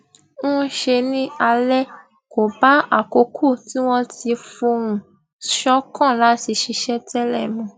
ń ṣe ní alẹ kò bá àkókò tí wón ti fohùn ṣòkan láti ṣiṣẹ télè mu